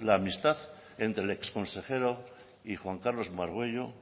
la amistad entre el exconsejero y juan carlos margüello